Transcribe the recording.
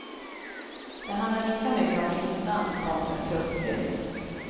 Det handlar lika mycket om inland kontra kustbygd.